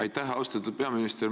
Aitäh, austatud peaminister!